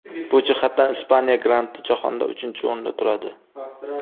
Bu jihatdan Ispaniya grandi jahonda uchinchi o‘rinda turadi.